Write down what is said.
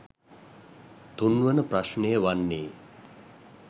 තුන්වන ප්‍රශ්නය වන්නේ